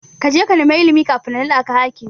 Kaje ka nema ilimi kafin na naɗaka hakimi.